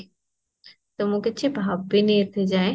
ତ ମୁଁ କିଛି ଭାବିନି ଏବେ ଯାଏଁ